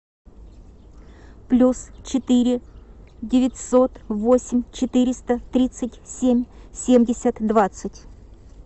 плюс четыре девятьсот восемь четыреста тридцать семь семьдесят двадцать